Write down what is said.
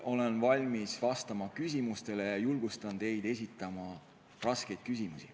Olen valmis vastama küsimustele ja julgustan teid esitama raskeid küsimusi.